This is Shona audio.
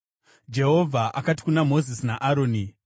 Jehovha akati kuna Mozisi naAroni,